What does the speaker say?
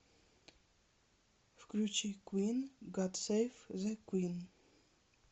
включи куин гад сэйв зэ куин